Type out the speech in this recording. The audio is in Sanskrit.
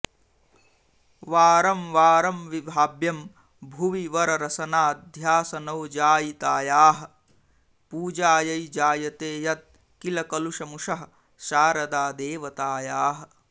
वारं वारं विभाव्यं भुवि वररसनाध्यासनौजायितायाः पूजायै जायते यत्किल कलुषमुषः शारदादेवतायाः